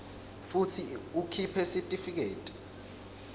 futsi ukhiphe sitifiketi